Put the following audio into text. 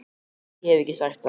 Ég hef ekki sagt það!